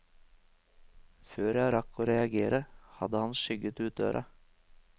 Før jeg rakk å reagere, hadde han skygget ut døra.